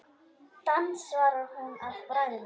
Dans svarar hún að bragði.